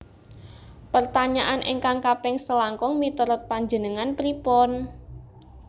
Pertanyaan ingkang kaping selangkung miturut panjenengan pripun?